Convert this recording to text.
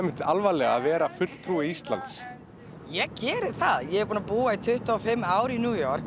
alvarlega að vera fulltrúi Íslands ég geri það ég er búin að búa í tuttugu og fimm ár í New York